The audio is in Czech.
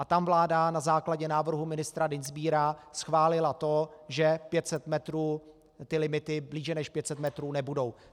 A tam vláda na základě návrhu ministra Dienstbiera schválila to, že ty limity blíže než 500 metrů nebudou.